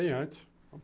Bem antes.